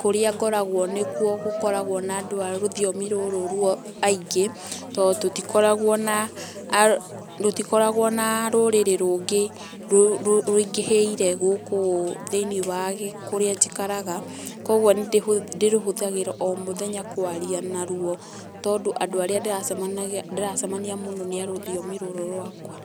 kũrĩa ngoragwo nĩkuo gũkoragwo na andũ a rũthiomi rũrũ aingĩ tondũ tũtikoragwo na rũtikoragwo na rũrĩrĩ rũngĩ rũingĩhĩire gũkũ ũ thĩiniĩ wa kũria njikaraga kogwo ndirũhũthagĩra o mũthenya kwaria na ruo tondũ arĩa ndĩracemania mũno nĩ a rũthiomi rũrũ rwakwa.